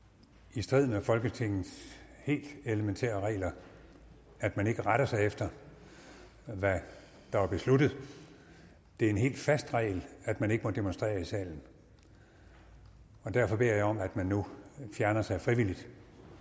i strid med folketingets helt elementære regler at man ikke retter sig efter hvad der er besluttet det er en helt fast regel at man ikke må demonstrere i salen og derfor beder jeg om at man nu fjerner sig frivilligt